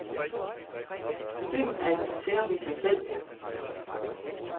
Byen er et museum i sig selv.